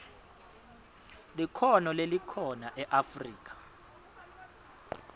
likhono lelikhona eafrika